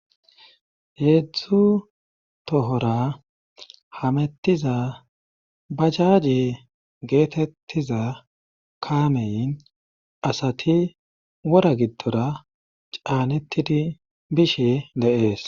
heedzu tohora hamettiza bajaaje geetettiza kaamen asati wora giddora caanettidi bishe de7ees.